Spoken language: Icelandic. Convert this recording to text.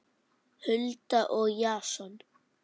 Hulda og Jason.